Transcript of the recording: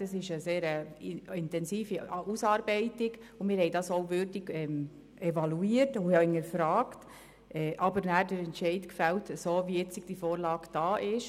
Es handelt sich um eine sehr intensive Ausarbeitung, und wir haben diese auch würdig evaluiert und hinterfragt, letztlich aber den Entscheid zugunsten der jetzigen Vorlage gefällt.